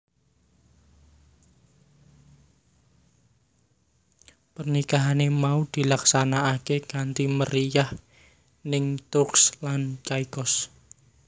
Pernikahan mau dilaksanakaké kanthi meriyah ning Turks lan Caicos